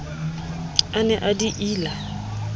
a ne a di ila